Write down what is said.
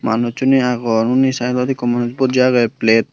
manussuney agon unni saaidodi ikko manuj buji agey plate.